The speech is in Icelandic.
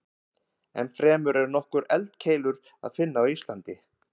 Ennfremur er nokkrar eldkeilur að finna á Íslandi.